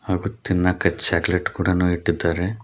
ಹಾಗು ತಿನ್ನಾಕ ಚಾಕಲೆಟ ಕೂಡಾನು ಇಟ್ಟಿದ್ದಾರೆ.